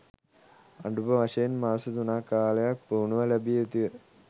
අඩුම වශයෙන් මාස තුනක කාලයක් පුහුණුව ලැබිය යුතුය